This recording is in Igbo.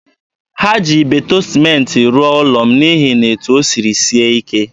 Ha ji Ibeto sịmentị rụọ ụlọ m n'ihi na etu o siri sie ike.